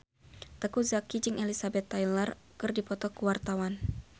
Teuku Zacky jeung Elizabeth Taylor keur dipoto ku wartawan